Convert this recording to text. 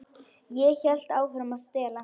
Ég hélt áfram að stela.